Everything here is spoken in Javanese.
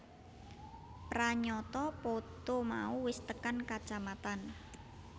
Pranyata poto mau wis tekan kacamatan